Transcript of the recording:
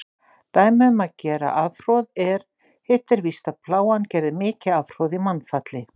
Dæmi um gera afhroð er: Hitt er víst, að Plágan gerði mikið afhroð í mannfalli.